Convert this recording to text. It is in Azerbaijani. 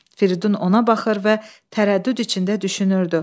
Firidun ona baxır və tərəddüd içində düşünürdü.